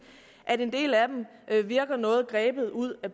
at en del af dem virker noget grebet ud af